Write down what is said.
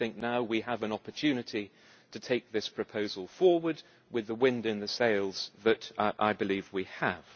Now we have an opportunity to take this proposal forward with the wind in our sails that I believe we have.